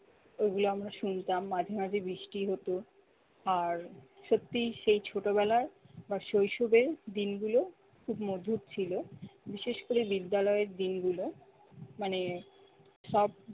ওগুলো আমরা শুনতাম মাঝে মাঝে বৃষ্টি হত, আর সত্যি সেই ছোটবেলার বা শৈশবের দিনগুলো খুব মধুর ছিল, বিশেষ করে বিদ্যালয়ের দিনগুলো মানে সব